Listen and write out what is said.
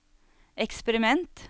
eksperiment